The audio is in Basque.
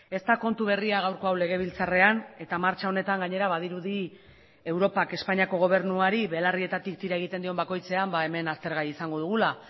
ez da kontu berria gaurko hau legebiltzarrean eta martxa honetan gainera badirudi europak espainiako gobernuari belarrietatik tira egiten dion bakoitzean hemen aztergai izango dugula